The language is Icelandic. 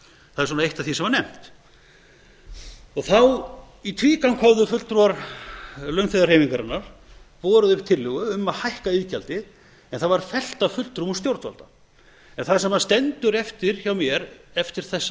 það er eitt af því sem var nefnt í tvígang höfðu fulltrúar launþegahreyfingarinnar borið upp tillögu um að hækka iðgjaldið en það var fellt af fulltrúum stjórnvalda en það sem stendur eftir hjá mér eftir þessa